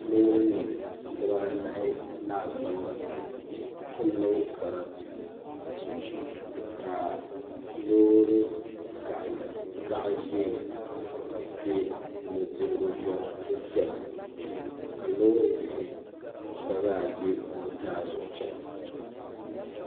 Loori nim dibaanahi laasabu n niŋ sarati ka loori karili zaɣ ʒiɛ bɛ nudirigu zuɣu n chɛna ka loori bihi gba zaa bɛ nuzaa zuɣu n chɛna